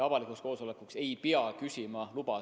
Avalikuks koosolekuks ei pea küsima luba.